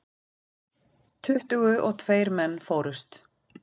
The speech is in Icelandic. Tuttugu og tveir menn fórust.